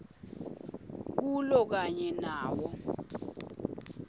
kulo kanye nawo